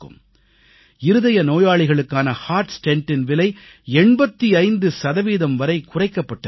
இருதய நோயாளிகளுக்கான இதய ஸ்டென்ட் ஹெர்ட் ஸ்டென்ட் விலை 85 சதவீதம் வரை குறைக்கப்பட்டிருக்கிறது